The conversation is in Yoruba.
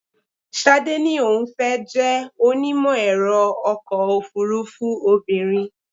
Ṣadé ní òun fẹ́ jẹ́ onímọ̀-ẹ̀rọ ọkọ̀ òfúrúfú obìnrin.